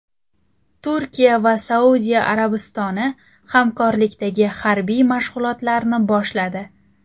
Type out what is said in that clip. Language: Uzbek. Turkiya va Saudiya Arabistoni hamkorlikdagi harbiy mashg‘ulotlarni boshladi.